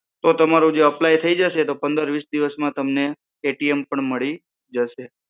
તો તમારું જે એપ્લાય થઇ જશે તો પંદર વીસ દિવસ માં તમને પણ મળી જશે